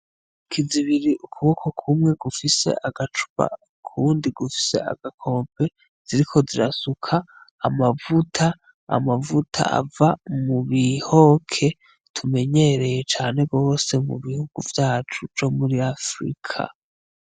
Intoki zibiri, ukuboko kumwe gufise agacupa, ukundi gufise agakombe. Ziriko zirasuka amavuta. Amavuta ava mu bihoke, tumenyereye cane rwose, mu bihugu vyacu vyo muri Afrika.